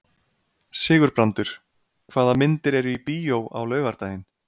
Sigurbrandur, hvaða myndir eru í bíó á laugardaginn?